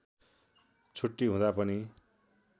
छुट्टी हुँदा पनि